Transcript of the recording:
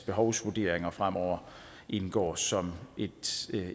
behovsvurderinger fremover indgår som et